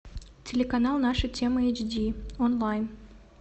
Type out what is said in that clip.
телеканал наша тема эйч ди онлайн